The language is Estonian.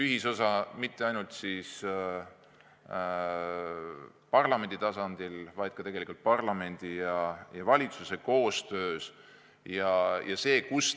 Ja seda mitte ainult parlamendi tasandil, vaid ka parlamendi ja valitsuse koostöös.